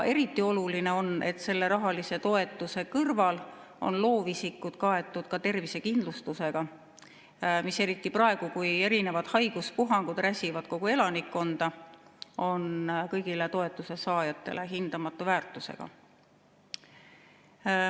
Eriti oluline on, et rahalise toetuse kõrval on loovisikud kaetud ka tervisekindlustusega, mis eriti praegu, kui erinevad haiguspuhangud räsivad kogu elanikkonda, on kõigile toetusesaajatele hindamatu väärtusega.